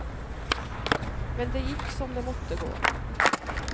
Men det gikk som det måtte gå.